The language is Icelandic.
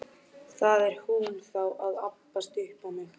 Það er einsog haus hans og háls hafi vaxið saman.